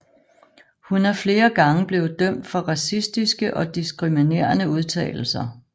Hun er flere gange blevet dømt for racistiske og diskriminerende udtalelser